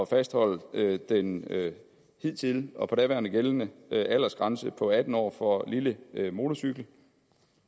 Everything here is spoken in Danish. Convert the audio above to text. fastholde den hidtidige og daværende gældende aldersgrænse på atten år for lille motorcykel